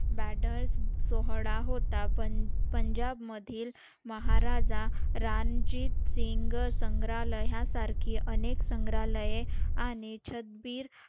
बेडर्स सोहळा होता पण पंजाब मधील महाराजा रणजित सिंग संग्रहालयासारखी अनेक संग्रहालय आणि छबीर